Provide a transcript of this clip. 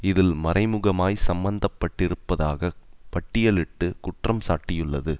இதில் மறைமுகமாய் சம்மந்த பட்டிருப்பதாக பட்டியலிட்டு குற்றம் சாட்டியுள்ளது